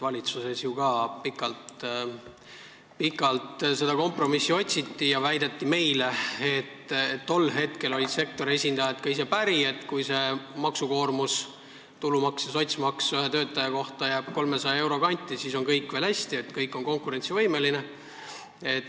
Valitsuses otsiti ju ka pikalt kompromissi ja meile väideti, et tol hetkel olid sektori esindajad ka ise päri, et kui see maksukoormus – tulumaks ja sotsmaks ühe töötaja kohta – jääb 300 euro kanti, siis on kõik hästi ja oleme konkurentsivõimelised.